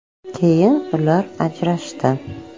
Keyin ular ajrashdi.